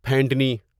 پھینٹنی